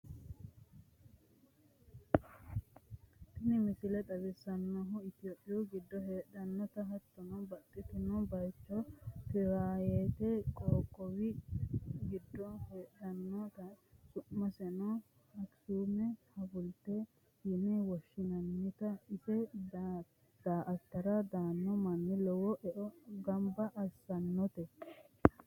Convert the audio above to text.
tini misile xawissannohu itophiyu giddo heedhannota hattono, baxxino bayicho tigirayete qoqqowi giddo heedhannota, su'maseno akisuumete hawulte yine woshshinannita ise da'atara daanno manni lowo eo gobbate eessannote.